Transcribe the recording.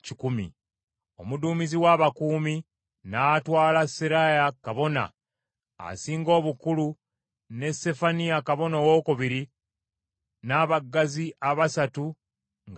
Omuduumizi w’abakuumi n’atwala Seraaya kabona asinga obukulu ne Sefaniya kabona owookubiri n’abaggazi abasatu nga basibe.